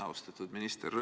Austatud minister!